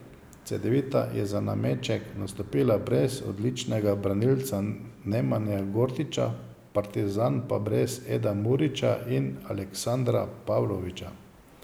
Cedevita je za nameček nastopila brez odličnega branilca Nemanje Gordića, Partizan pa brez Eda Murića in Aleksandra Pavlovića.